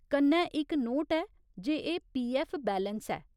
कन्नै इक नोट ऐ जे एह् पीऐफ्फ बैलेंस ऐ।